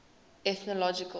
ethnological